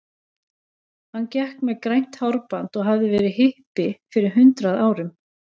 Hann gekk með grænt hárband og hafði verið hippi fyrir hundrað árum.